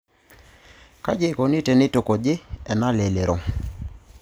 Kaji eikoni teneitukuji ena lelero?